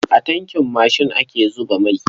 A tankin mashin ake zuba mai.